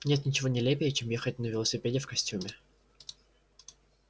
нет ничего нелепее чем ехать на велосипеде в костюме